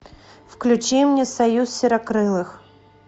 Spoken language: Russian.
включи мне союз серокрылых